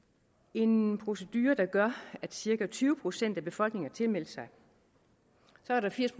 en procedure der gør at cirka tyve procent af befolkningen har tilmeldt sig så er der firs